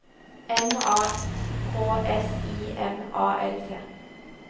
M A K S I M A L T